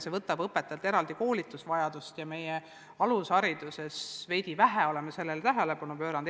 See aga nõuab õpetajalt eraldi koolitust ja meie oleme oma alushariduses sellele siiani veidi vähe tähelepanu pööranud.